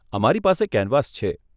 અમારી પાસે કેનવાસ છે.